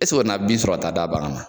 bin sɔrɔ ta d'a bagan ma